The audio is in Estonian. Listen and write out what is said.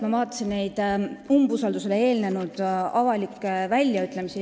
Ma vaatasin umbusaldusavaldusele eelnenud avalikke väljaütlemisi.